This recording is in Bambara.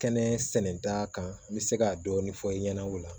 Kɛnɛ sɛnɛn t'a kan n bɛ se ka dɔɔni fɔ i ɲɛna o la